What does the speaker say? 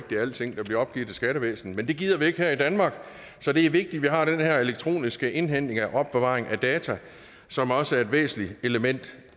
det er alting der bliver opgivet til skattevæsenet men det gider vi ikke her i danmark så det er vigtigt at vi har den her elektroniske indhentning og opbevaring af data som også er et væsentligt element